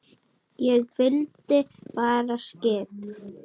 Ég fylgdi bara skip